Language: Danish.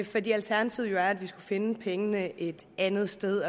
fordi alternativet jo er at vi skulle finde pengene et andet sted